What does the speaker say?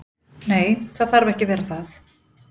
Nei, það þarf ekki að vera það.